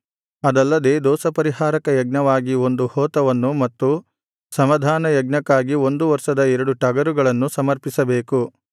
ಅದಲ್ಲದೆ ದೋಷಪರಿಹಾರಕ ಯಜ್ಞವಾಗಿ ಒಂದು ಹೋತವನ್ನು ಮತ್ತು ಸಮಾಧಾನ ಯಜ್ಞಕ್ಕಾಗಿ ಒಂದು ವರ್ಷದ ಎರಡು ಟಗರುಗಳನ್ನು ಸಮರ್ಪಿಸಬೇಕು